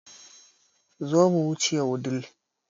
Zo mu wuce Wudil